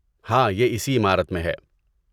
ہاں، یہ اسی عمارت میں ہے۔